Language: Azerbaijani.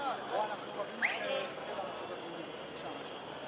biz əvvəlcədən idik.